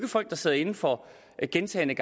folk der sidder inde for gentagne